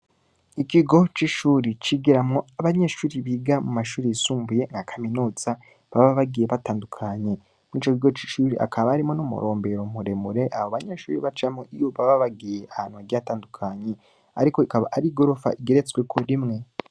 Ikigo c'ishuri, cigiramwo abanyeshuri biga mu mashuri yisumbuye nka kaminuza, baba bagiye batandukanye; muri ico kigo c'ishuri, hakaba harimwo n'umurombero muremure, abo banyeshuri bacamwo, iyo baba bagiye ahantu hagiye hatandukanye; ariko ikaba ari igorofa igeretsweko rimwe.